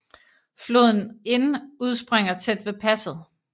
Floden Inn udspringer tæt ved passet